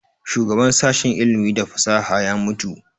Shugaban sashen ilimi da fasaha ya mutu